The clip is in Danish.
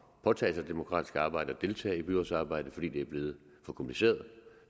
at påtage sig demokratisk arbejde og deltage i byrådsarbejdet fordi det er blevet for kompliceret